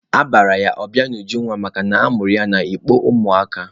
Aha ya bụ Ọbịanujunwa makana a mụrụ ya n'ikpo ụmụ aka.